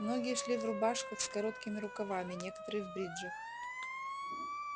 многие шли в рубашках с короткими рукавами некоторые в бриджах